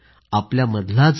आपल्यामधलाच आहे